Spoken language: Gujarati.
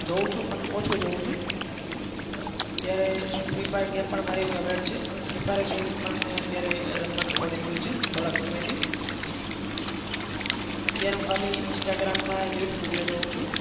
જોઉં છું પણ ઓછું જોઉં છું. અત્યારે free fire game પણ મારી favourite છે પણ free fire game પણ મેં અત્યારે રમવાનું છોડી દીધું છે થોડાક સમયથી. અત્યારે હું ખાલી instagram માં reels video જોઉં છું.